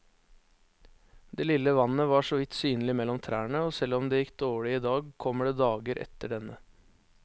Det lille vannet var såvidt synlig mellom trærne, og selv om det gikk dårlig i dag, kommer det dager etter denne.